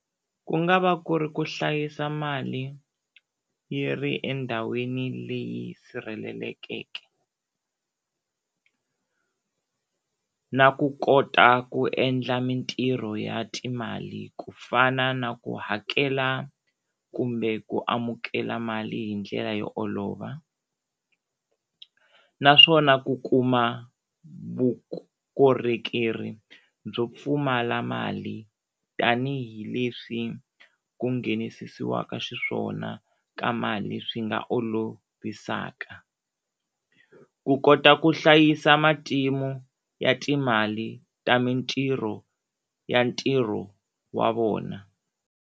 Ku nga va ku ri ku hlayisa mali yi ri endhawini leyi sirhelelekeke na ku kota ku endla mintirho ya timali ku fana na ku hakela kumbe ku amukela mali hi ndlela yo olova, naswona ku kuma vukorhokeri byo pfumala mali tanihileswi ku nghenisisiwaka xiswona ka mali swi nga olovisaka, ku kota ku hlayisa matimu ya timali ta mintirho ya ntirho wa vona.